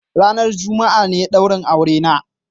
Ranan Juma'a ne daurin aurena.